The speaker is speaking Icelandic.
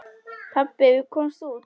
Pabbi, við komumst út!